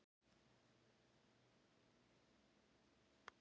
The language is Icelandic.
Hvað hefur breyst í spilamennskunni?